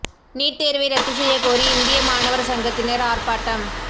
NEET தோ்வை ரத்து செய்யக் கோரி இந்திய மாணவா் சங்கத்தினா் ஆா்ப்பாட்டம்